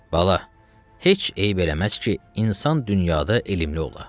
Bala, heç eyb eləməz ki, insan dünyada elmli ola.